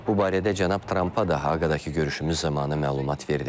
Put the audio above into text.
Bu barədə cənab Trampa daha Haqadakı görüşümüz zamanı məlumat verdim.